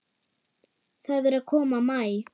Það er að koma maí.